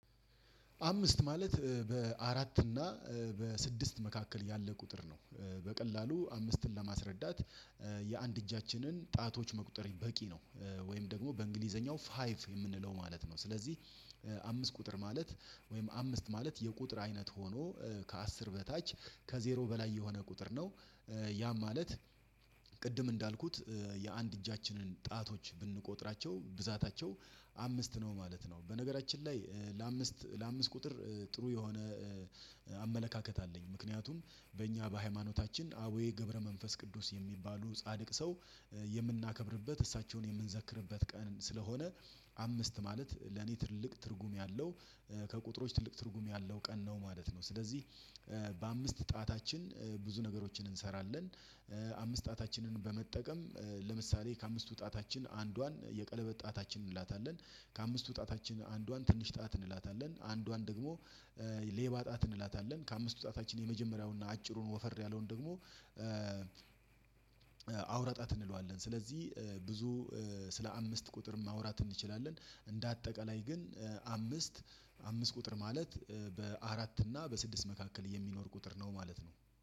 አምስት ማለት በአራት እና በስድስት መካከል ያለ ቁጥር ነው። በቀላሉ አምስትን ለማስረዳት የአንድ እጃችንን ጣቶች መቁጠር በቂ ነው። ወይም ደግሞ በእንግሊዘኛው ፋይቭ የምንለው ማለት ነው። ስለዚህ አምስት ቁጥር ማለት ወይም አምስት ማለት የቁጥር አይነት ሆኖ ከአስር በታች ከዜሮ በላይ የሆነ ቁጥር ነው። ያ ማለት ቅድም እንዳልኩት የአንድ እጃችንን ጣቶች ብንቆጥራቸው ብዛታቸው አምስት ነው ማለት ነው። በነገራችን ላይ ለአምስት ለአምስት ቁጥር ጥሩ የሆነ አመለካከት አለኝ። ምክንያቱም በእኛ በሃይማኖታችን አቡዬ ገብረ መንፈስ ቅዱስ የሚባሉ ጻድቅ ሰው የምናከብርበት እሳቸውን የምንዘክርበት ቀን ስለሆነ አምስት ማለት ለኔ ትልቅ ትርጉም ያለው ከቁጥሮች ትልቅ ትርጉም ያለው ቀን ነው ማለት ነው። ስለዚህ በአምስት ጣታችን ብዙ ነገሮችን እንሰራለን። አምስት ጣታችንን በመጠቀም ለምሳሌ ከአምስቱ ጣታችን አንዷን የቀለበ ጣታችን እንላታለን ከአምስቱ ጣታችን አንዷን ትንሽ ጣት እንላታለን አንዷን ደግሞ ሌባ ጣት እንላታለን። ከአምስቱ ጣታችን የመጀመሪያውን እና አጭሩን ወፈር ያለውን ደግሞ አውራጣት እንለዋለን። ስለዚህ ብዙ ስለ አምስት ቁጥር ማውራት እንችላለን። እንደ አጠቃላይ ግን አምስት አምስት ቁጥር ማለት በአራት እና በስድስት መካከል የሚኖር ቁጥር ነው ማለት ነው